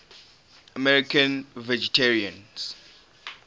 american vegetarians